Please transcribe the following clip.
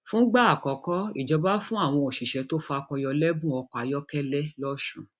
fúngbà àkọkọ ìjọba fún àwọn òṣìṣẹ tó fakọ yọ lẹbùn ọkọ ayọkẹlẹ lọsùn